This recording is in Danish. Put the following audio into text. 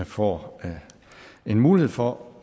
får en mulighed for